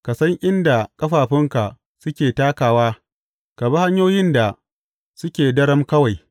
Ka san inda ƙafafunka suke takawa ka bi hanyoyin da suke daram kawai.